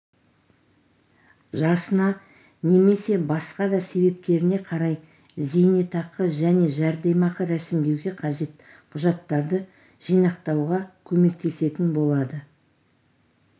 жасына немесе басқа да себептеріне қарай зейнетақы және жәрдемақы рәсімдеуге қажет құжаттарды жинақтауға көмектесетін болады